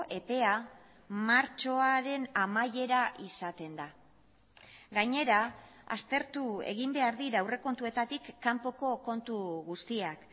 epea martxoaren amaiera izaten da gainera aztertu egin behar dira aurrekontuetatik kanpoko kontu guztiak